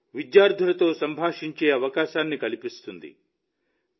ఇది విద్యార్థులతో సంభాషించే అవకాశాన్ని కల్పిస్తుంది